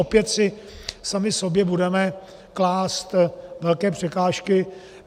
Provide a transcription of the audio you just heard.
Opět si sami sobě budeme klást velké překážky.